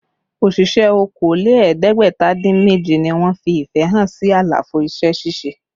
Òṣìṣẹ́ okòó lé ẹ̀ẹ́dẹ́gbẹ̀ta dín méje ni wọ́n fi ìfẹ́ hàn sí àlàfo iṣẹ́ ṣíṣe